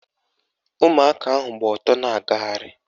Ụmụaka ahụ gba ọtọ na-agagharị